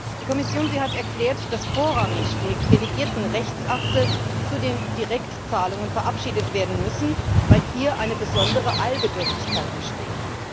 Die Kommission hat erklärt, dass vorrangig die delegierten Rechtsakte zu den Direktzahlungen verabschiedet werden müssen, weil hier eine besondere Eilbedürftigkeit bestehe.